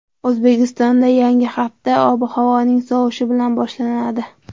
O‘zbekistonda yangi hafta ob-havoning sovishi bilan boshlanadi.